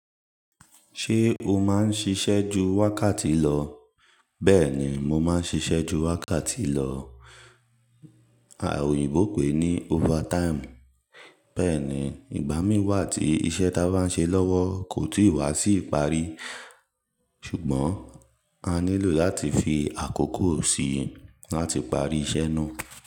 Ṣé o máa ń ṣiṣẹ́ ju wákàtí lọ? Bẹ́ẹ̀ ni, mo máa ń ṣiṣẹ́ ju wákàtí lọ, a òyìnbó pè é ní overtime. Bẹ́ẹ̀ ni, ìgbà mí wà tí iṣẹ́ ta bá ń ṣe lọ́wọ́ kò ti ì wá sí ìparí. Ṣùgbọ́n a nílò láti fi àkókò sí i láti parí iṣẹ́ náà.